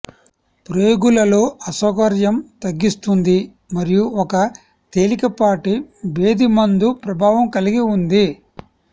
ప్రేగులు లో అసౌకర్యం తగ్గిస్తుంది మరియు ఒక తేలికపాటి భేదిమందు ప్రభావం కలిగి ఉంది